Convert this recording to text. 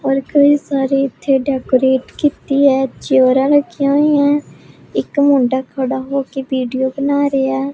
ਔਰ ਕਈ ਸਾਰੇ ਇੱਥੇ ਡੈਕੋਰੇਟ ਕੀਤੀ ਐ ਚੇਅਰਾਂ ਰੱਖੀਆਂ ਹੋਈਐਂ ਇੱਕ ਮੁੰਡਾ ਖੜਾ ਹੋ ਕੇ ਵੀਡਿਓ ਬਣਾ ਰਿਹਾ ਐ।